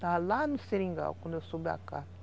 Estava lá no Seringal, quando eu soube a cá.